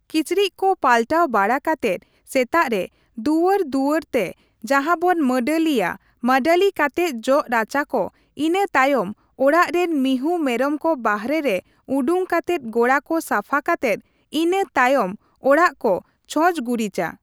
ᱠᱤᱪᱨᱤᱡᱠᱚ ᱯᱟᱞᱟᱴ ᱵᱟᱲᱟ ᱠᱟᱛᱮᱫ ᱥᱮᱛᱟᱜ ᱨᱮ ᱫᱩᱣᱟᱹᱨ ᱫᱩᱣᱟᱹᱨ ᱛᱮ ᱡᱟᱦᱟᱸᱵᱚᱱ ᱢᱟᱹᱰᱟᱹᱞᱤᱭᱟ ᱢᱟᱹᱰᱟᱹᱞᱤ ᱠᱟᱛᱮᱫ ᱡᱚᱜ ᱨᱟᱪᱟ ᱠᱚ, ᱤᱱᱟᱹ ᱛᱟᱭᱚᱢ ᱚᱲᱟᱜ ᱨᱮᱱ ᱢᱤᱦᱩᱸ ᱢᱮᱨᱚᱢ ᱠᱚ ᱵᱟᱨᱦᱮ ᱨᱮ ᱩᱰᱩᱝ ᱠᱟᱛᱮᱫ ᱜᱚᱲᱟ ᱠᱚ ᱥᱟᱯᱷᱟ ᱠᱟᱛᱮᱫ ᱤᱱᱟᱹ ᱛᱟᱭᱯᱢ ᱚᱲᱟᱜ ᱠᱚ ᱪᱷᱚᱸᱪ ᱜᱩᱨᱤᱪᱼᱟ ᱾